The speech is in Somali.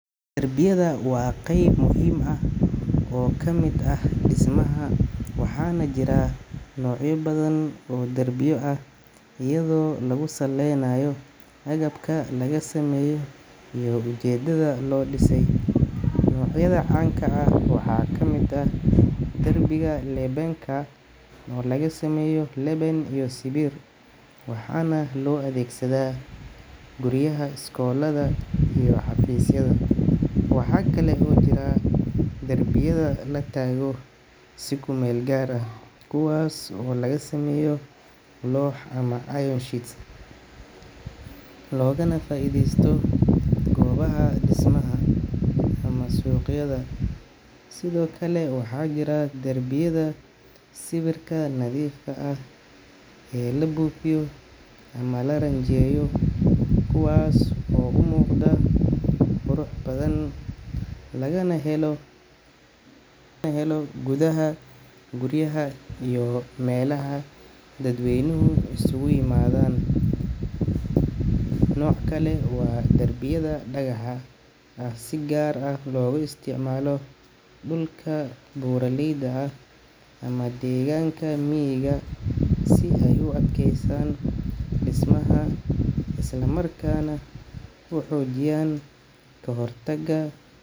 Darbiyada waa qayb muhiim ah oo ka mid ah dhismaha, waxaana jira noocyo badan oo darbiyo ah iyadoo lagu salaynayo agabka laga sameeyo iyo ujeedada loo dhisay. Noocyada caanka ah waxaa ka mid ah darbiga lebenka oo laga sameeyo leben iyo sibir, waxaana loo adeegsadaa guryaha, iskoollada iyo xafiisyada. Waxaa kale oo jira darbiyada la taago si kumeel gaar ah, kuwaas oo laga sameeyo loox ama iron sheets, loogana faa’iidaysto goobaha dhismaha ama suuqyada. Sidoo kale, waxaa jira darbiyada sibirka nadiifka ah ee la buufiyo ama la rinjiyeeyo, kuwaas oo u muuqda qurux badan, lagana helo gudaha guryaha iyo meelaha dadweynuhu isugu yimaadaan. Nooc kale waa darbiyada dhagaxa ah oo si gaar ah loogu isticmaalo dhulka buuraleyda ah ama deegaanka miyiga si ay u adkeeyaan dhismaha islamarkaana u xoojiyaan ka-hortagga.